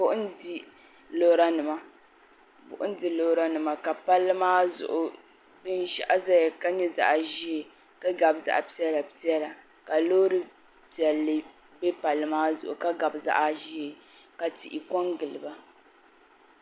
Buɣim n di lora nima ka palli maa zuɣu binshaɣu zaya ka nyɛ zaɣa ʒee ka gabi zaɣa piɛlla piɛla ka loori piɛllia be palli maa zuɣu ka gabi zaɣa ʒee ka tihi kongili ba.